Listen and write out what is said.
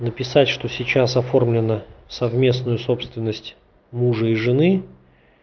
написать что сейчас оформлена совместную собственность мужа и жены